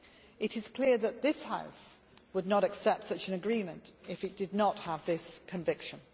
It is clear that this House would not accept such an agreement if it did not have this conviction.